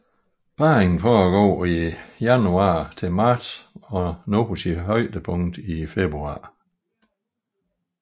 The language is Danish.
Parringen foregår fra januar til marts og når sit højdepunkt i februar